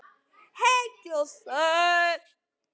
Heill og sæll!